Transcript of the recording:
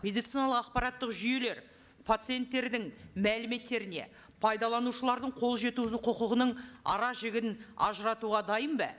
медициналық ақпараттық жүйелер пациенттердің мәліметтеріне пайдаланушылардың қол жеткізу құқығының ара жігін ажыратуға дайын ба